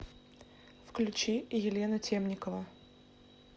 включи елена темникова